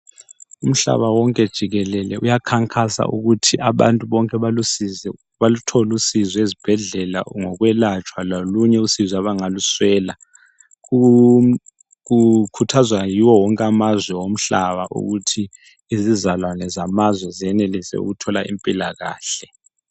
Umhlaba wonke jikelele uyakhankasa ukuthi abantu bonke abalusizi baluthole usizo ezibhedlela ngokwelatshwa lolunye usizo abangaluswela, kukhuthazwa yiwo wonke amazwe omhlaba ukuthi izizalwane zamazwe zenelise ukuthola impilakahle.